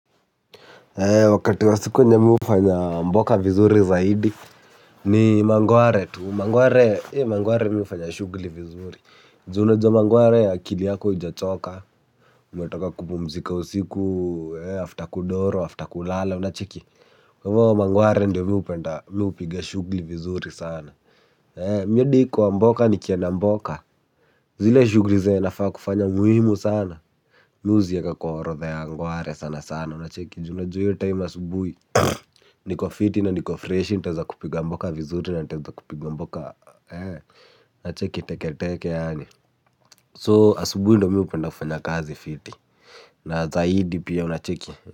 Wakati wa siku nye miu ufanya mboka vizuri zaidi ni mangware tu. Mangware mi ufanya shugli vizuri. Juu unajua mangware akili yako haijachoka. Umetoka kupumzika usiku, afta kudoro, afta kulala. Unacheki. Kwa ivo mangware ndio mi upenda hupiga shugli vizuri sana. Medi kwa mboka ni kienda mboka. Zile shugli zenye nafaa kufanya muhimu sana. Mi huzieka kwa orodha ya ngware sana sana. Unacheki. Juu najua iyo time asubuhi. Niko fiti na niko freshi nitaeza kupiga mboka vizuri na nitaeza kupiga mboka nacheki teke teke yaani so asubui ndo mi hupenda kufanya kazi fiti na zaidi pia unacheki.